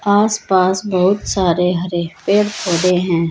आसपास बहोत सारे हरे पेड़ पौधे हैं।